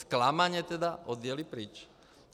Zklamaně tedy odjeli pryč.